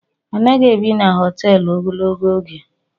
Anaghị ebi n'hoteelu ogologo oge